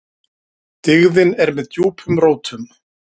Dyggðin er með djúpum rótum.